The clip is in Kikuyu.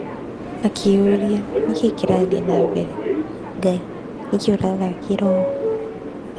Akĩĩyũria, "Nĩkĩĩ kĩrathiĩ na mbere? Ngai, nĩkĩĩ ũrathakĩra ũũ? "